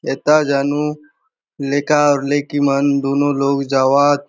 एथा जानु लेका अउर लेकी मन दोनों लोक जावअत ।